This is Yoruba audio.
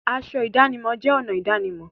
Aṣọ ìdánimọ̀ jẹ́ ọ̀nà ìdánimọ̀.